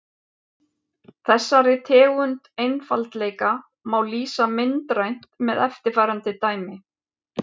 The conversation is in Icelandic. Þessari tegund einfaldleika má lýsa myndrænt með eftirfarandi dæmi.